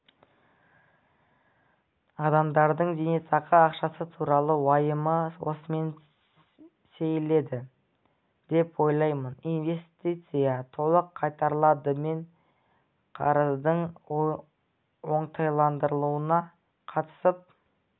адамдардың зейнетақы ақшасы туралы уайымы осымен сейіледі деп ойлаймын инвестиция толық қайтарылады мен қарыздың оңтайландырылуына қатысып